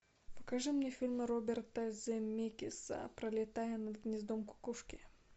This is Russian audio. покажи мне фильмы роберта земекиса пролетая над гнездом кукушки